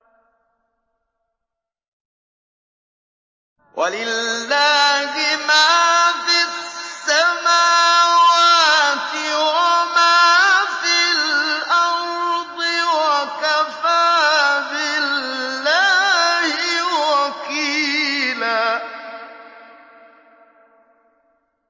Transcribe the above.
وَلِلَّهِ مَا فِي السَّمَاوَاتِ وَمَا فِي الْأَرْضِ ۚ وَكَفَىٰ بِاللَّهِ وَكِيلًا